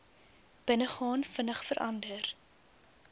binnegaan vinnig verander